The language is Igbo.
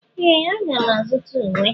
Ee! Aga m azụta uwe.